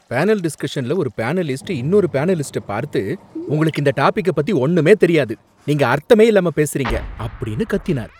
Panel டிஸ்கஷன்ல ஒரு panelist இன்னொரு பேனலிஸ்டைப் பார்த்து "உங்களுக்கு இந்த டாபிக் பத்தி ஒண்ணுமே தெரியாது, நீங்க அர்த்தமே இல்லாம பேசுறீங்க" அப்படின்னு கத்தினார்.